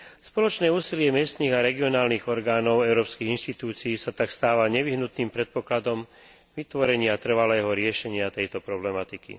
Spoločné úsilie miestnych a regionálnych orgánov európskych inštitúcií sa tak stáva nevyhnutným predpokladom vytvorenia trvalého riešenia tejto problematiky.